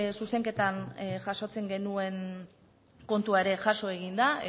zuzenketan jasotzen genuen kontua ere jaso egin da